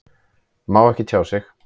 Má ekki tjá sig